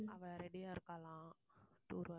அவள் ready யா இருக்காளாம்